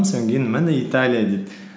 міне италия дейді